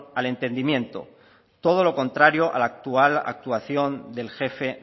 al entendimiento todo lo contrario al actual actuación del jefe